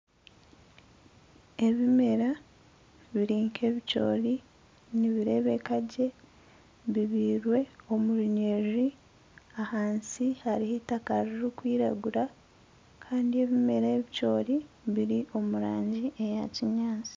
Ebimera biri nk'ebicoori nibireebeka gye. Bibyairwe omu runyiriri, ahansi hariho eitaka ririkwiragura kandi ebimera ebicoori biri omu rangi eya kinyaatsi.